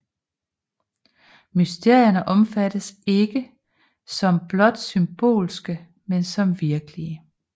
Mysterierne opfattes ikke som blot symbolske men som virkelige